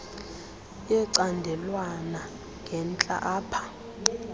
yecandelwana ngentla apha